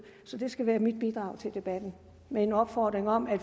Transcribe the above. så det skal være mit bidrag til debatten med en opfordring om at